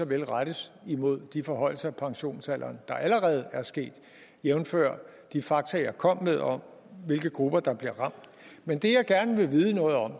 kan rettes mod de forhøjelser af pensionsalderen der allerede er sket jævnfør de fakta jeg kom med om hvilke grupper der bliver ramt men det jeg gerne vil vide noget om